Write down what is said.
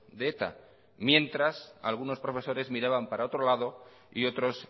de eta mientras algunos profesores miraban para otro lado y otros